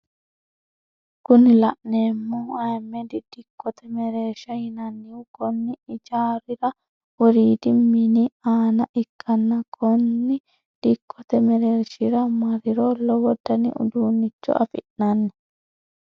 Kuni la'neemohu ahimedi dikkote mereersha yinannihu konni ijaarira woriidi mini aana ikanna konni dikkote merershira marriro lowo dani uduunicho afi'nanni